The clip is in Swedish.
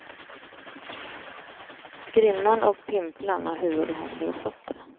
Skrinnarn och pimplarn har huvud och händer och fötter.